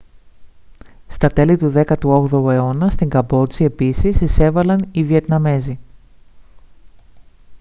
στα τέλη του 18ου αιώνα στη καμπότζη επίσης εισέβαλαν οι βιετναμέζοι